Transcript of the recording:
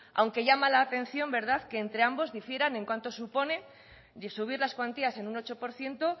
aunque llama la atención que entre ambos difieran en cuánto supone de subir las cuantías en un ocho por ciento